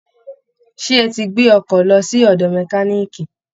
Ṣé ẹ ti gbé ọkọ lọ sí ọ̀dọ̀ mẹkaníìkì